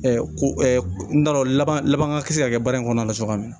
ko n t'a dɔn laban laban kisɛ ka kɛ baara in kɔnɔna na cogoya min na